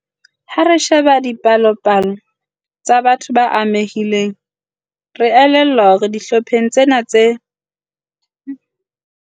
"Ha re sheba dipalopalo tsa batho ba amehileng, re a elellwa hore dihlopheng tsena tsohle tse tlokotsing, sa neonates ke sona se amehileng ka ho fetisisa."